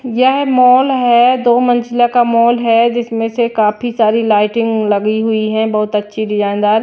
यह मॉल है दो मंजिला का मॉल है जिसमें से काफी सारी लाइटिंग लगी हुई है बहुत अच्छी डिजाइनदार ।